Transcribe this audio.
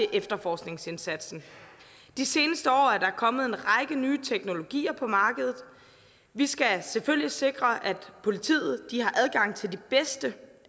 efterforskningsindsatsen de seneste år er der kommet en række nye teknologier på markedet vi skal selvfølgelig sikre at politiet har adgang til de bedste